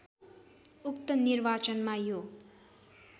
उक्त निर्वाचनमा यो